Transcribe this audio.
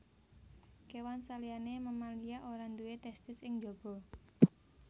Kéwan saliyané mamalia ora duwé testis ing njaba